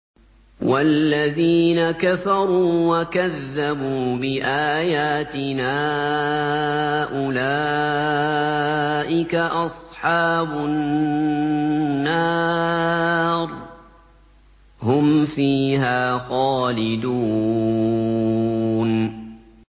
وَالَّذِينَ كَفَرُوا وَكَذَّبُوا بِآيَاتِنَا أُولَٰئِكَ أَصْحَابُ النَّارِ ۖ هُمْ فِيهَا خَالِدُونَ